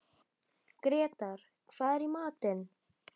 Grétar, hvað er í matinn?